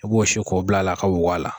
E b'o su k'o bila a la a ka wo a la